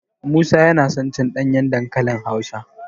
Musa yana son cin ɗanyen dankali Hausa.